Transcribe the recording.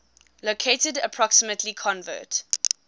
located approximately convert